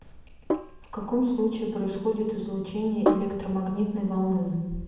в каком случае происходит излучение электромагнитной волны